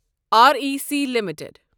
R E C limited